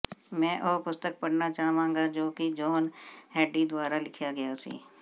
ਮੈਂ ਉਹ ਪੁਸਤਕ ਪੜ੍ਹਨਾ ਚਾਹਾਂਗਾ ਜੋ ਕਿ ਜੋਹਨ ਹੈਡੀ ਦੁਆਰਾ ਲਿਖਿਆ ਗਿਆ ਸੀ